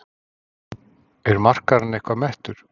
Er markaðurinn eitthvað mettur?